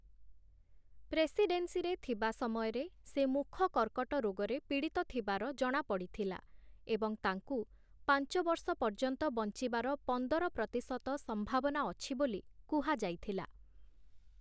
ପ୍ରେସିଡେନ୍ସିରେ ଥିବା ସମୟରେ, ସେ ମୁଖ କର୍କଟ ରୋଗରେ ପୀଡ଼ିତ ଥିବାର ଜଣାପଡ଼ିଥିଲା ଏବଂ ତାଙ୍କୁ ପାଞ୍ଚ ବର୍ଷ ପର୍ଯ୍ୟନ୍ତ ବଞ୍ଚିବାର ପନ୍ଦର ପ୍ରତିଶତ ସମ୍ଭାବନା ଅଛି ବୋଲି କୁହାଯାଇଥିଲା ।